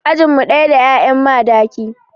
Ajin mu ɗaya da 'ya'yan Madaki.